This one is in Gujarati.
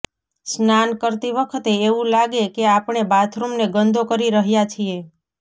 સ્નાન કરતી વખતે એવું લાગે કે આપણે બાથરૂમને ગંદો કરી રહ્યાં છીએ